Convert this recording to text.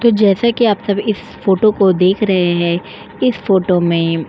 तो जैसा कि आप सभी इस फ़ोटो को देख रहे हैं इस फ़ोटो में --